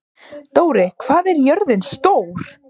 Dóri, hvað er jörðin stór?